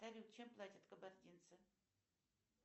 салют чем платят кабардинцы